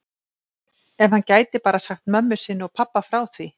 Ef hann gæti bara sagt mömmu sinni og pabba frá því.